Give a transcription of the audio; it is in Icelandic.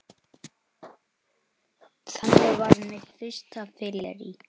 Til hvers að vera dapur?